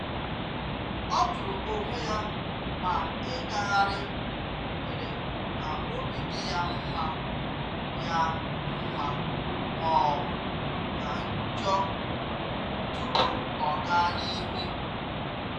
Ọ jụrụ onwe ya ma ịgagharị mere ka obi dị ya mma ya mma ma ọ bụ ka njọ tupu ọ gaa n'ihu.